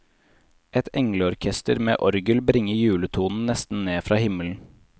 Et engleorkester med orgel bringer juletonen nesten ned fra himmelen.